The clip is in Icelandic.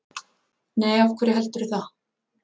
Nei, af hverju heldurðu það?